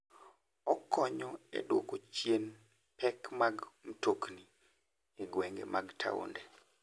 Okonyo e duoko chien pek mag mtokni e gwenge mag taonde.